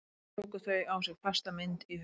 Eitt og eitt tóku þau á sig fasta mynd í huga